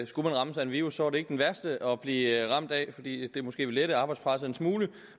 skulle man rammes af en virus var det måske ikke den værste at blive ramt af fordi det måske ville lette arbejdspresset en smule